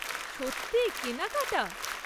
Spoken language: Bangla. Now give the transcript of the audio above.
সত্যি? কেনাকাটা?